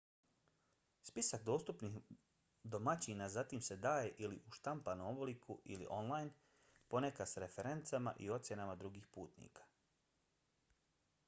spisak dostupnih domaćina zatim se daje ili u štampanom obliku i/ili online ponekad s referencama i ocjenama drugih putnika